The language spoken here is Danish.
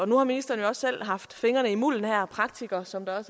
nu har ministeren jo også selv haft fingrene i mulden her er praktiker som der